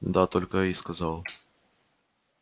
да только и сказал